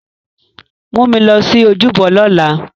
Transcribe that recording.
Mu mi lọ si ojúbọ lọla!